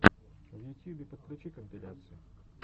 в ютьюбе подключи компиляции